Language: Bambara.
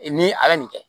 Ee ni a ye nin kɛ